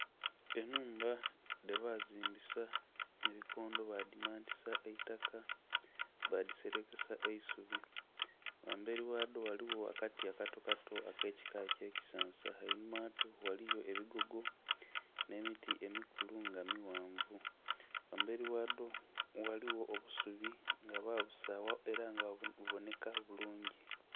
Ennhumba dhebazimbisa ebikondo badhimantisa eitaka, badhiselekesa eisubi. Ghambeli ghadho ghaligho akati akatokato akekika ky'ekisansa. Einhuma ghadho ghaliyo ebigogo nh'emiti emikulu nga mighanvu. Ghambeli ghadho ghaligho obusubi nga babusaagha ela nga bubonheka bulungi.